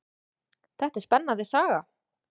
Þetta er spennandi saga.